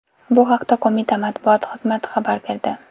Bu haqda qo‘mita matbuot xizmati xabar berdi .